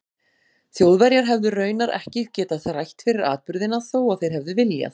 Þjóðverjar hefðu raunar ekki getað þrætt fyrir atburðina þó að þeir hefðu viljað.